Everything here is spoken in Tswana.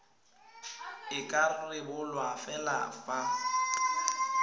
e ka rebolwa fela fa